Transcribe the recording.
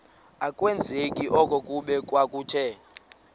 akwazeki okokuba kwakuthe